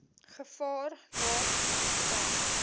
gevaar laat ontstaan